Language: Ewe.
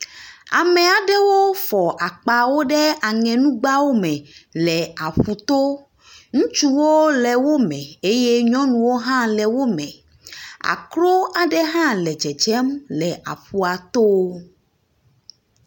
Ame aɖewo fɔ akpawo ɖe aŋenugbawo me le aƒu to. Ŋutsu le wo me eye nyɔnuwo hã le wo me. Akro aɖe hã le tsetsem le aƒua to.